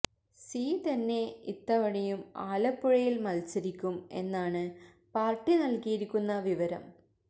C തന്നെ ഇത്തവണയും ആലപ്പുഴയില് മത്സരിക്കും എന്നാണ് പാര്ട്ടി നല്കിയിരിക്കുന്ന വിവരം